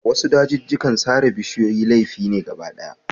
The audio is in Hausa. A wasu dajijjikan laifi ne sare bishiyoyi.